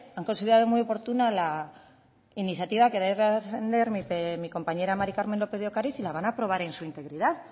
han considerado muy oportuna la iniciativa que va a defender mi compañera mari carmen lópez de ocariz y la van a aprobar en su integridad